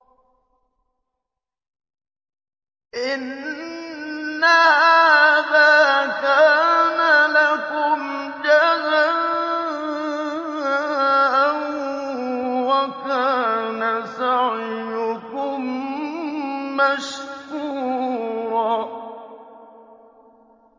إِنَّ هَٰذَا كَانَ لَكُمْ جَزَاءً وَكَانَ سَعْيُكُم مَّشْكُورًا